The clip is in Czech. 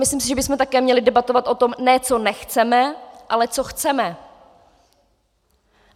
Myslím si, že bychom měli také debatovat o tom, ne, co nechceme, ale co chceme.